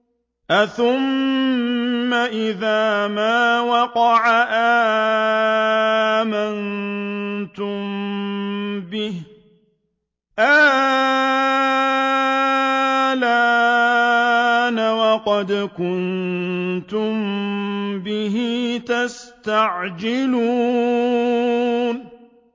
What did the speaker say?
أَثُمَّ إِذَا مَا وَقَعَ آمَنتُم بِهِ ۚ آلْآنَ وَقَدْ كُنتُم بِهِ تَسْتَعْجِلُونَ